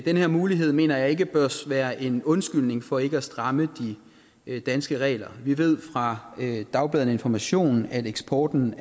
her mulighed mener jeg ikke bør være en undskyldning for ikke at stramme de danske regler vi ved fra dagbladet information at eksporten